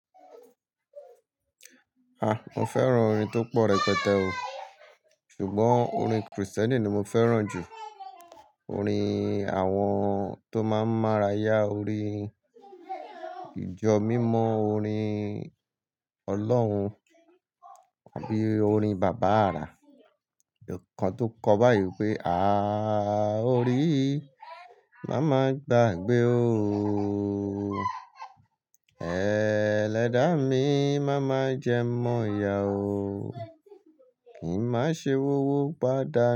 Ah, mo fẹ́ràn orin tó pọ̀ rẹpẹtẹ o. Ṣùgbọ́n orin Krìstẹ́nì ni mo fẹ́ràn jù. Orin àwọn tó máa ń mara yá orin ìjọ mímọ́, orin Ọlọ́run àbí orin bàbá àrà. Ìkán tó kọ bá yìí pé, "Aaa orí, má má gba gbé ó o. Ee ledá mi, má má jẹ mọ́ iya o. Kìí má ṣe wọ́wọ́ padà."